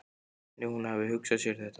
Hvernig hún hafi hugsað sér þetta.